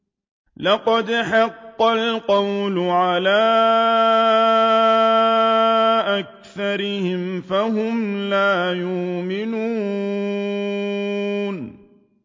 لَقَدْ حَقَّ الْقَوْلُ عَلَىٰ أَكْثَرِهِمْ فَهُمْ لَا يُؤْمِنُونَ